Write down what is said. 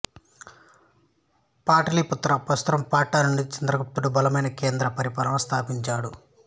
పాటలీపుత్ర ప్రస్తుత పాట్నా నుండి చంద్రగుప్తుడు బలమైన కేంద్ర పరిపాలనను స్థాపించాడు